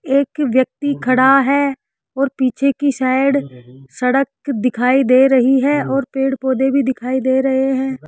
एक व्यक्ति खड़ा है और पीछे की साइड सड़क दिखाई दे रही है और पेड़ पौधे भी दिखाई दे रहे हैं।